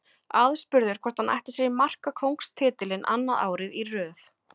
Aðspurður hvort hann ætli sér markakóngstitilinn annað árið í röð.